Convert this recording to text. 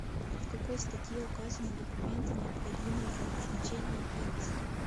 в какой статье указаны документы необходимые для назначения пенсии